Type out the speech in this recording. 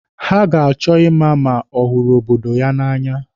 Ha ga-achọ ịma ma ọ hụrụ obodo ya na'anya.